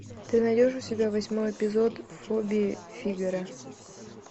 ты найдешь у себя восьмой эпизод фобии фигаро